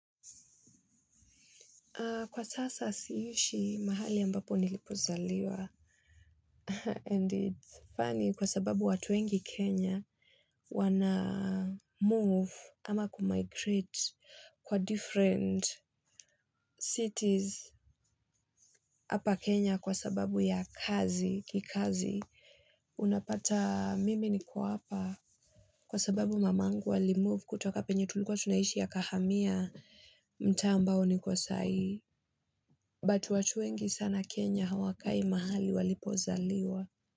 Kwa sasa siishi mahali ambapo nilipozaliwa. And it's funny kwa sababu watu wengi Kenya. Wana move ama kumigrate kwa different cities. Hapa Kenya kwa sababu ya kazi, kikazi. Unapata mimi niko hapa. Kwa sababu mamangu wali move kutoka penye tulikuwa tunaishi akahamia. Mtaa ambao niko sahii. But watu wengi sana Kenya hawakai mahali walipozaliwa.